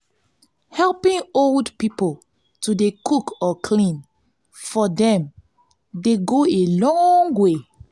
helping old pipo to dey cook or clean for dem dey go a long way.